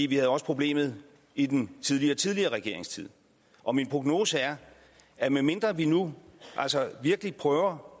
vi havde også problemet i den tidligere tidligere regeringstid og min prognose er at medmindre vi nu altså virkelig prøver